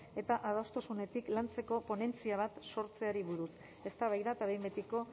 eta adostasunetik lantzeko ponentzia bat sortzeari buruz eztabaida eta behin betiko